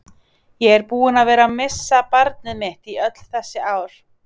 Ég er búinn að vera missa barnið mitt í öll þessi ár.